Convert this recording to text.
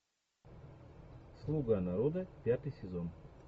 слуга народа пятый сезон